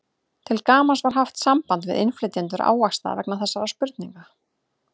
Til gamans var haft samband við innflytjendur ávaxta vegna þessarar spurningar.